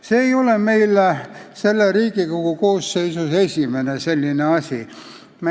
See ei ole selles Riigikogu koosseisus esimene selline asi.